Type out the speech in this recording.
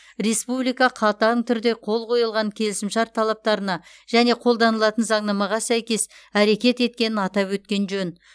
республика қатаң түрде қол қойылған келісімшарт талаптарына және қолданылатын заңнамаға сәйкес әрекет еткенін атап өткен жөн